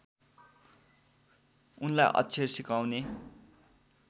उनलाई अक्षर सिकाउने